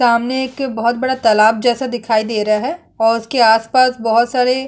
सामने एक बहुत बड़ा तालाब जैसा दिखाई दे रहा है और उसके आस-पास बहोत सारे--